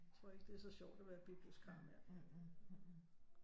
Tror ikke det er så sjovt at være bibliotikar mere